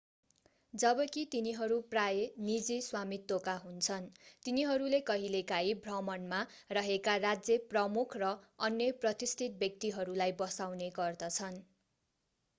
जबकि तिनीहरू प्रायः निजी स्वामित्वका हुन्छन् तिनीहरूले कहिलेकाहिँ भ्रमणमा रहेका राज्य प्रमुख र अन्य प्रतिष्ठित व्यक्तिहरूलाई बसाउने गर्दछन्